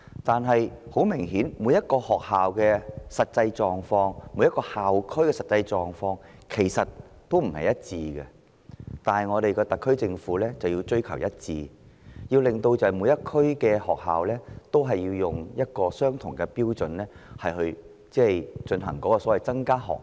不過，每間學校和每個校區的實際狀況顯然並不相同，但我們的特區政府卻追求一致，要求每區的學校以相同標準增加學額。